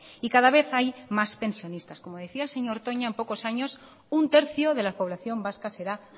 y cada vez hay más pensionistas como decía el señor toña en pocos años un tercio de la población vasca será